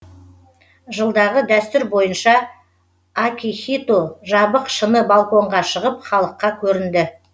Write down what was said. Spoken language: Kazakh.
жылдағы дәстүр бойынша акихито жабық шыны балконға шығып халыққа көрінді